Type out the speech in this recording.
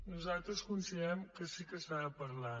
nosaltres considerem que sí que se n’ha de parlar